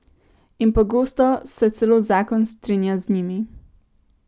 In pogosto se celo zakon strinja z njimi.